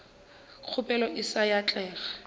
kgopelo e se ya atlega